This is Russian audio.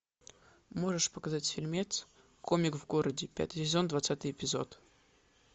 можешь показать фильмец комик в городе пятый сезон двадцатый эпизод